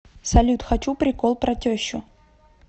салют хочу прикол про тещу